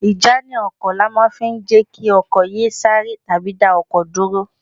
Ìjánu ọkọ̀ ni a máa fi ń jẹ́ kí ọkọ̀ yé e sáré tàbí dá ọkọ̀ dúró